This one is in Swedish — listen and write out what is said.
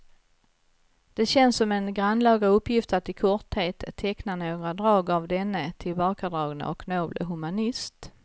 Det känns som en grannlaga uppgift att i korthet teckna några drag av denne tillbakadragne och noble humanist.